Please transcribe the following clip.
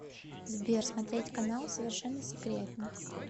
сбер смотреть канал совершенно секретно